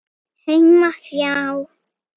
Heima hjá